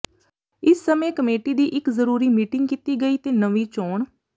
ਇਸ ਸਮੇਂ ਕਮੇਟੀ ਦੀ ਇਕ ਜ਼ਰੂਰੀ ਮੀਟਿੰਗ ਕੀਤੀ ਗਈ ਤੇ ਨਵੀਂ ਚੋਣ